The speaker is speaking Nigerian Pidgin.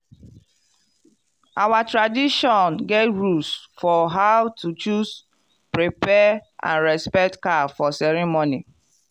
our tradition get rules for how to choose prepare and respect cow for ceremony.